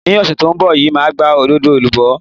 Ní ọ̀sẹ̀ tó ń bọ̀ yìí, màá gba òdòdó alubó.